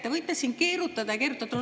Te võite siin keerutada ja keerutada.